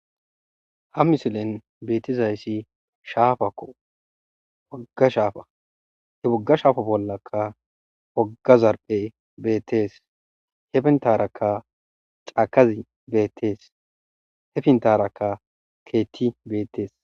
ha misilen beetizayssi shaafakko waggashaafa he wogga shaafa bollakka wagazarphe beettees hepintarakka caakazi beettees hefintarakka keetti beettees